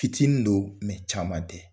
Fitinin don caman tɛ